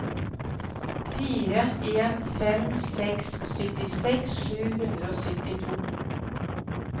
fire en fem seks syttiseks sju hundre og syttito